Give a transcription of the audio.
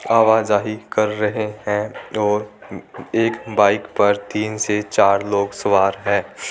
आवाजाही कर रहे है और एक बाइक पर तीन से चार लोग सवार है।